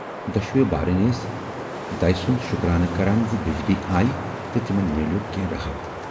دۅشوٕے بارٕنۍ ٲسۍ دَے سُند شُکرانہٕ کران زِ بجلی آیہِ تہٕ تِمن میلیوو کینہہ راحت۔